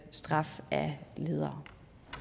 straf af ledere